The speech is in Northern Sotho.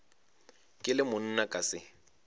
ke le monna ka se